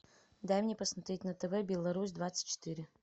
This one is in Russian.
дай мне посмотреть на тв беларусь двадцать четыре